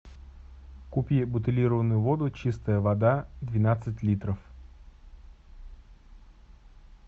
купи бутилированную воду чистая вода двенадцать литров